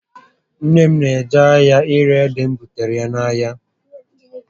Nné m na eje ahịa ire ede m bụtaara ya n'ahịa